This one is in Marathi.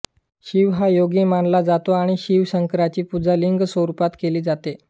शिव हा योगी मानला जातो आणि शिव शंकराची पूजा लिंग स्वरूपात केली जाते